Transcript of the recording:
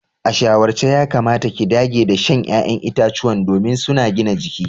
A shawarce yakamata ki dage da shan ya'yan itacuwa domin suna gina jiki.